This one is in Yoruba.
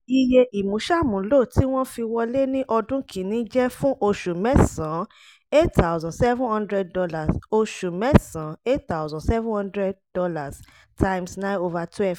iye ìmúṣàmúlò tí wọ́n fi wọlé ní ọdún kin-ní jẹ́ fún oṣù mẹ́sàn-án ($ eight thousand seven hundred oṣù mẹ́sàn-án ($ eight thousand seven hundred x nine / twelve )